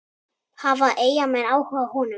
Hafa Eyjamenn áhuga á honum?